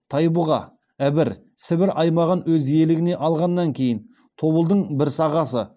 тайбұға ібір сібір аймағын өз иелігіне алғаннан кейін тобылдың бір сағасы